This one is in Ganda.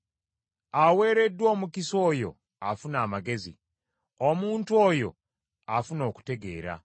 Aweereddwa omukisa oyo afuna amagezi, omuntu oyo afuna okutegeera,